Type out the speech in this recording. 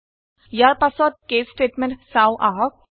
ইয়াৰ পাছত case statement চাওঁ আহক